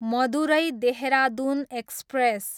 Madurai, Dehradun express